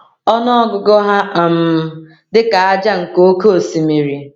Ọnụ ọgụgụ ha um dị ka ájá nke oké osimiri.”